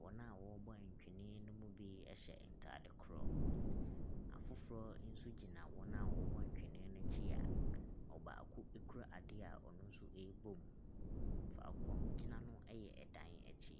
Wɔn a wɔbɔ ntwene no mu bi ɛhyɛ ntaade koro. Na afoforɔ nso gyina wɔn. a wɔwɔ ntwene n'akyi a ɔbaako ekura ade a ɔno nso ɛbom. Faako a wogyina no ɛyɛ ɛdan akyi.